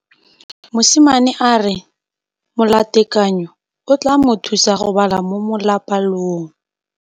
Mosimane a re molatekanyô o tla mo thusa go bala mo molapalong.